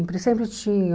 sempre tinham.